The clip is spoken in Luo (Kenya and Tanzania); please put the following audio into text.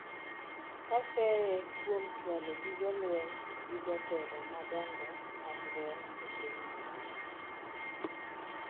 ka seye kuom chwalo gige lweny gi jotelo madongo mag lweny e pinyno